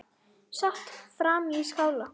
Sat hann frammi í skála.